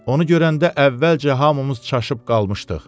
Onu görəndə əvvəlcə hamımız çaşıb qalmışdıq.